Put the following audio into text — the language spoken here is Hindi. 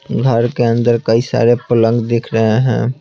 घर के अंदर कई सारे पलंग दिख रहे हैं।